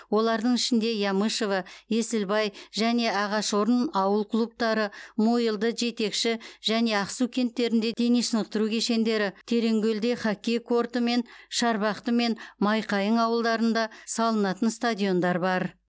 олардың ішінде ямышево есілбай және ағашорын ауыл клубтары мойылды жетекші және ақсу кенттерінде дене шынықтыру кешендері тереңкөлде хоккей корты мен шарбақты мен майқайың ауылдарында салынатын стадиондар бар